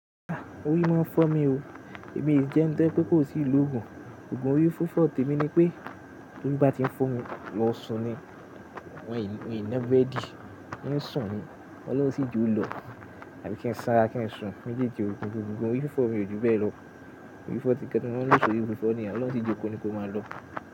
Ah! Orí máa ń fọ́ mi o. Èmi jẹ́ eni to jẹ̀ pe kó sì lo gùn. Ògùn orí fífọ̀ tèmi ni pé, tó bá ti ń fọ́ mi lọ sùn ni wọ́n ì na brẹdi. Ń sùn ni, olun sì jo lọ. Àbí kí ń sánra kí ń sùn. Méjèèjì òpin gbogbo ogùn orí fífọ̀ mi ò jùn bẹ́ẹ̀ lọ. Ògùn orí fífọ̀ tí nkan ti mo maa n lò sọrí fífọ́ ni yen oloun o si jóko ni kó máa lọ.